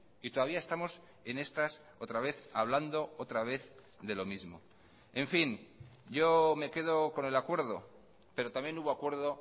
y todavía estamos en estas otra vez hablando otra vez de lo mismo en fin yo me quedo con el acuerdo pero también hubo acuerdo